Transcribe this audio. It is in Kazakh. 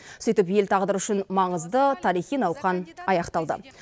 сөйтіп ел тағдыры үшін маңызды тарихи науқан аяқталды